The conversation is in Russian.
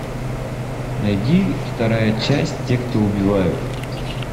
найди вторая часть те кто убивают